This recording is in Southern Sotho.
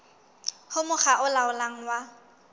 ho mokga o laolang wa